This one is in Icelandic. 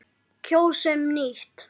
Kjósum nýtt.